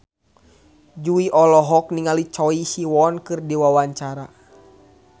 Jui olohok ningali Choi Siwon keur diwawancara